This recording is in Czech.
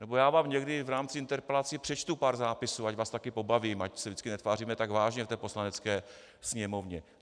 Nebo já vám někdy v rámci interpelací přečtu pár zápisů, ať vás taky pobavím, ať se vždycky netváříme tak vážně v té Poslanecké sněmovně.